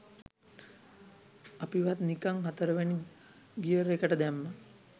අපිව ත් නිකං හතරවෙනි ගියර් එකට දැම්මා